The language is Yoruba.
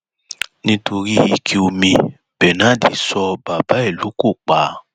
nítorí ike omi bernard so bàbá ẹ lóko pa